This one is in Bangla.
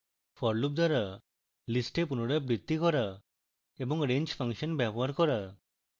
for loop দ্বারা list পুনরাবৃত্তি করা এবং range ফাংশন ব্যবহার করা